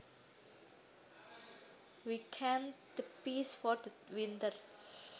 We canned the peas for the winter